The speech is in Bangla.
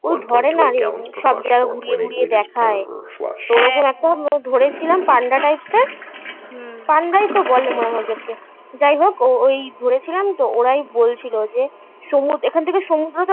ধরে না রে. সব জায়গা ঘুরিয়ে ঘুরিয়ে দেখায়. চলে এসো দেখো . ধরেছিলাম. পান্ডা types হুম পান্ডা রাই তো বলে মনে হয় ওদেরকে. যাই হোক ওই ধরেছিলাম তো ওরাই বলছিল যে সমুদ্র এখন থেকে সমুদ্র